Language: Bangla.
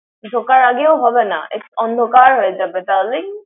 ঢোকার আগেও হবে না। এক অন্ধকার হয়ে যাবে darling ।